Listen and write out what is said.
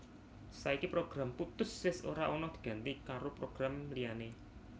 Saiki program Puttus wis ora ana diganti karo program liyané